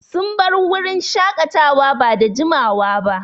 Sun bar wurin shaƙatawa ba da jiamawa ba.